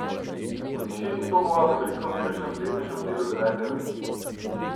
V tišini stopava po veliko mirnejšem in prijetnejšem delu Devete avenije.